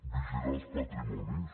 vigilar els patrimonis